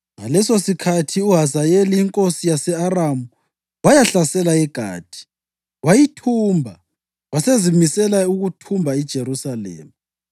Ngalesosikhathi uHazayeli inkosi yase-Aramu wayahlasela iGathi, wayithumba, wasezimisela ukuthumba iJerusalema,